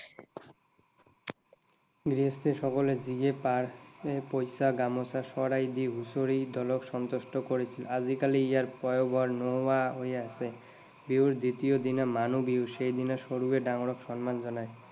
গৃহস্থ সকলে যিয়ে পাৰে পইচা, গামোচা, শৰাই দি হুচৰি দলক সন্তুষ্ট কৰিছিল। আজিকালি ইয়াৰ পয়োভৰ নোহোৱা হৈ আহিছে। বিহুৰ দ্বিতীয় দিনা মানুহ বিহু। সেইদিনা সৰুৱে ডাঙৰক সন্মান জনায়।